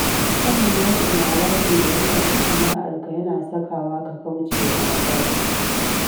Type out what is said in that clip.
Sanin nau’in haraji da ya shafi sana’arka yana sakawa ka kauce wa matsala.